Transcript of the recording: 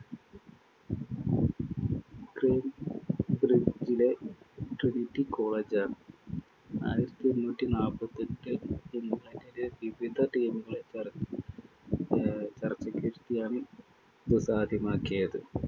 ക്രേം ബ്രിഡ്ജിലെ Trinity college ആണ് ആയിരത്തി എണ്ണൂറ്റി നാപ്പത്തിയെട്ടില്‍ ഇംഗ്ലണ്ടിലെ വിവിധ ടീമുകള ചർച്ചയ്ക്കിരുത്തിയാണ്‌ ഇതു സാധ്യമാക്കിയത്‌.